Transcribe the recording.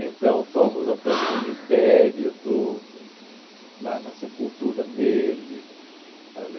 Então fomos até o cemitério tudo, lá na sepultura dele.